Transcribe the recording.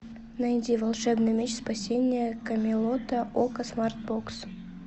найди волшебный меч спасение камелота окко смартбокс